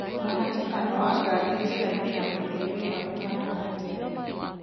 mũhatĩkano wa ngari njĩra-inĩ ya gũthiĩ wĩra ũhaana atĩa